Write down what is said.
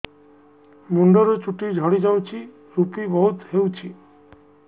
ମୁଣ୍ଡରୁ ଚୁଟି ଝଡି ଯାଉଛି ଋପି ବହୁତ ହେଉଛି